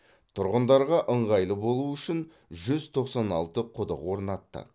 тұрғындарға ыңғайлы болуы үшін жүз тоқсан алты құдық орнаттық